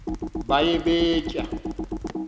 baye bee tyaa